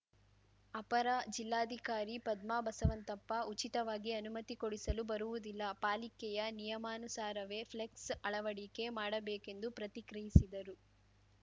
ಅಪರ ಜಿಲ್ಲಾಧಿಕಾರಿ ಪದ್ಮಾ ಬಸವಂತಪ್ಪ ಉಚಿತವಾಗಿ ಅನುಮತಿ ಕೊಡಿಸಲು ಬರುವುದಿಲ್ಲ ಪಾಲಿಕೆಯ ನಿಯಮಾನುಸಾರವೇ ಫ್ಲೆಕ್ಸ್‌ ಅಳವಡಿಕೆ ಮಾಡಬೇಕೆಂದು ಪ್ರತಿಕ್ರಿಯಿಸಿದರು